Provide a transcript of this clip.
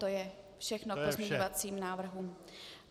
To je všechno k pozměňovacím návrhům.